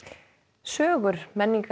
sögur